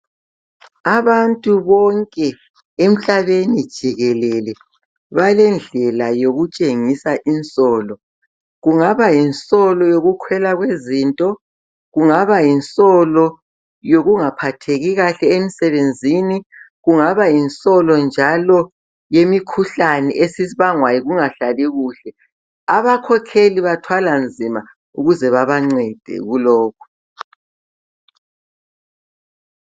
Abantu bonke emhlabeni jikelele, balendlela yokutshengisa insolo. Kungaba yinsolo yokukhwela kwezinto, kungabayinsolo yokungaphatheki kahle emsebenzini. Kungaba yinsolo njalo yemikhuhlane esibangwa yikungahlali kuhle, abakhokheli bathwala nzima ukuze babancede kulokhu.